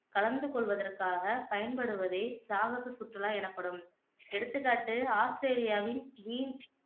கலந்துகொள்வதற்காக பயன்படுவதே சாகச சுற்றுலா எனப்படும் எடுத்துக்காட்டு ஆஸ்திரேலியாவின்